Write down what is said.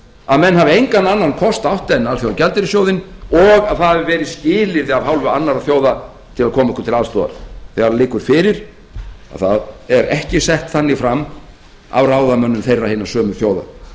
að menn hafi engan annan kost átt en alþjóðagjaldeyrissjóðinn og það hafi verið skilyrði af hálfu annarra þjóða til að koma okkur til aðstoðar þegar það liggur fyrir að það er ekki sett þannig fram af ráðamönnum þeirra hinna sömu þjóða